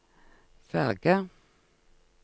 ferge